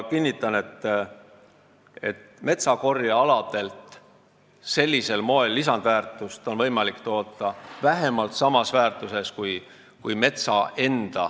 Kinnitan, et metsakorjealadelt on võimalik sellisel moel lisandväärtust toota vähemalt samas väärtuses kui metsa enda ...